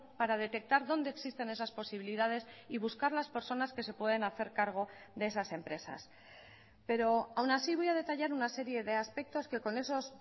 para detectar dónde existen esas posibilidades y buscar las personas que se pueden hacer cargo de esas empresas pero aun así voy a detallar una serie de aspectos que con esos